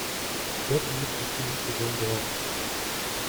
пять минут тишины сезон два